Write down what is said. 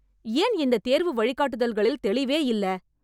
ஏன் இந்த தேர்வு வழிகாட்டுதல்களில் தெளிவே இல்ல‌